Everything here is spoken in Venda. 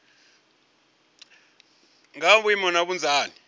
nga ha maimo na vhunzani